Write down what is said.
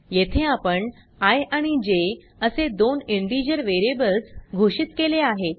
येथे आपण आय आणि जे असे दोन इंटिजर वेरीयेबल्स घोषित केले आहेत